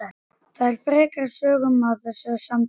Það fer ekki frekari sögum af þessu samtali.